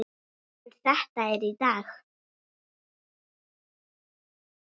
En þetta er í dag.